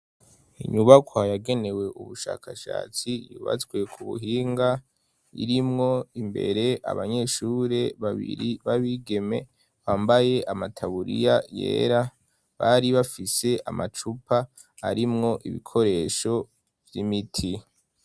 Inyubakwa yagenewe ubushakashatsi yubatswe ku buhinga, irimwo imbere abanyeshuri babiri b'abigeme bambaye amataburiya yera, bari bafise amacupa arimwo ibikoresho vy'imiti.